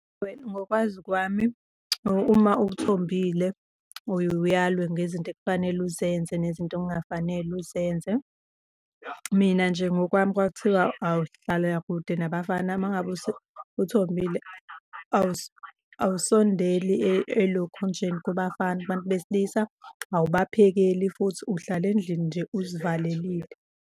Ngokwazi kwami, uma uthombile uye uyalwe ngezinto ekufanele uzenze nezinto okungafanele uzenze. Mina nje ngokwami kwakuthiwa uhlalela kude nabafana. Uma ngabe uthombile awusondeli elokhunjeni kubafana, kubantu besilisa, awubaphekeli futhi uhlala endlini nje uzivalelile.